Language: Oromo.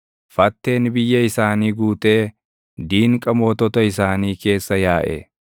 Fatteen biyya isaanii guutee diinqa mootota isaanii keessa yaaʼe.